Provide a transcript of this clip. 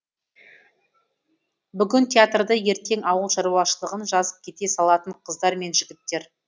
бүгін театрды ертең ауыл шаруашылығын жазып кете салатын қыздар мен жігіттер